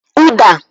Uda